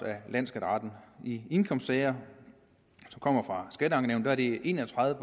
af landsskatteretten i indkomstsager som kommer fra skatteankenævnet er det en og tredive